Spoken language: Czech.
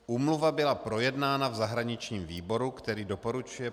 Úmluva byla projednána v zahraničním výboru, který doporučuje